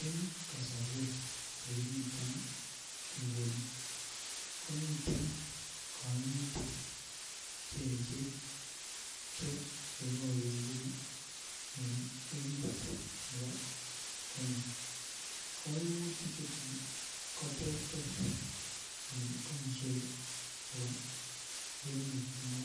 Eng kasorwek che kimiten nguni komiten koimutik cheechen cheke pourionchin en emet nebo Kenya koimutik chuton ko ter ter en komoswek chebo emet nebo